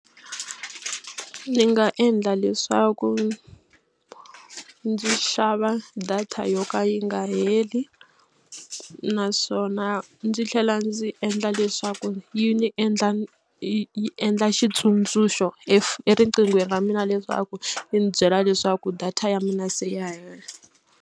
Ni nga endla leswaku ndzi xava data yo ka yi nga heli naswona ndzi tlhela ndzi endla leswaku yi ni endla yi yi endla xitsundzuxo eriqinghweni ra mina leswaku yi ni byela leswaku data ya mina se ya hela.